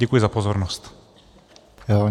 Děkuji za pozornost.